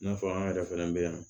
N'a fɔ an yɛrɛ fɛnɛ bɛ yan